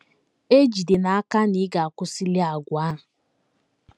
Ee, jide n’aka na ị ga - akwụsịli àgwà a!